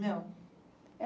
Não.